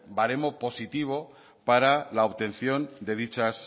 baremo positivo para la obtención de dichas